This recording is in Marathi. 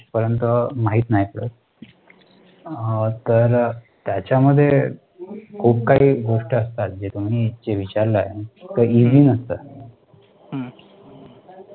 लास्ट पर्यंत माहित नाय, त्याच्यामध्ये खूप काही गोष्टी असतात, जे तुम्ही विचारलंय ते इझी नसतं.